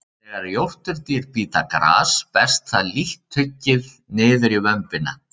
Þegar jórturdýr bíta gras berst það lítt tuggið niður í vömbina.